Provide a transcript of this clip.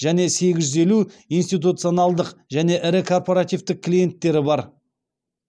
және сегіз жүз елу институционалдық және ірі корпоративтік клиенттері бар